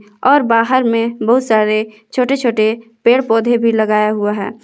और बाहर में बहुत सारे छोटे छोटे पेड़ पौधे भी लगाया हुआ है।